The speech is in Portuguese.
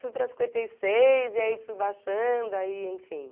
fui para cinquenta e seis, e aí fui baixando, aí, enfim.